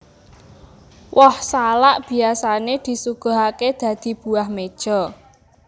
Woh salak biyasané disuguhaké dadi buah meja